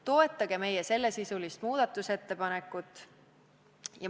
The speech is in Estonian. Toetage meie sellesisulist muudatusettepanekut!